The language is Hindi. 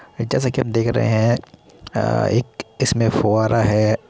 जैसा कि आप देख रहे हैं अ एक इसमें फुवारा है।